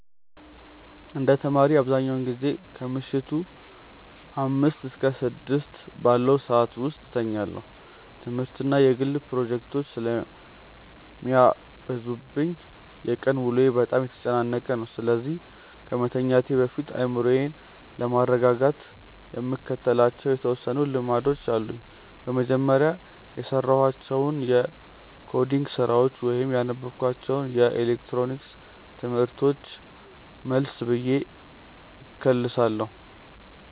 እንደ ተማሪ፣ አብዛኛውን ጊዜ ከምሽቱ አምስት እስከ ስድስት ባለው ሰዓት ውስጥ እተኛለሁ። ትምህርትና የግል ፕሮጀክቶች ስለሚበዙብኝ የቀን ውሎዬ በጣም የተጨናነቀ ነው፤ ስለዚህ ከመተኛቴ በፊት አእምሮዬን ለማረጋጋት የምከተላቸው የተወሰኑ ልምዶች አሉኝ። በመጀመሪያ፣ የሰራኋቸውን የኮዲንግ ስራዎች ወይም ያነበብኳቸውን የኤሌክትሮኒክስ ትምህርቶች መለስ ብዬ እከልሳለሁ።